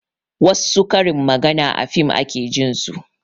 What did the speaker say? Wassu karin maganar a fim ake jin su